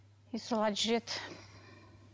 и солай жүреді